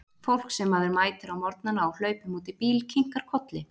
Fólk sem maður mætir á morgnana á hlaupum út í bíl, kinkar kolli.